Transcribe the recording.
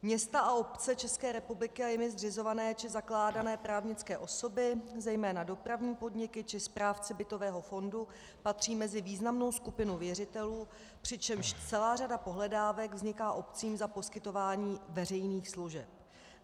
Města a obce České republiky a jimi zřizované či zakládané právnické osoby, zejména dopravní podniky, či správci bytového fondu patří mezi významnou skupinu věřitelů, přičemž celá řada pohledávek vzniká obcím za poskytování veřejných služeb.